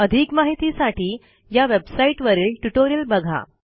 अधिक माहितीसाठी या वेबसाईटवरील ट्युटोरियल बघा